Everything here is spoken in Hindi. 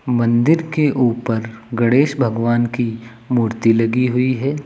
मंदिर के ऊपर गणेश भगवान की मूर्ति लगी हुई है।